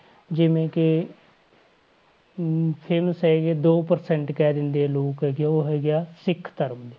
ਜਿਵੇਂ ਕਿ ਅਮ famous ਹੈਗੀ ਆ, ਦੋ percent ਕਹਿ ਦਿੰਦੇ ਆ ਲੋਕ ਹੈਗੇ ਆ, ਉਹ ਹੈਗੇ ਆ ਸਿੱਖ ਧਰਮ ਦੇ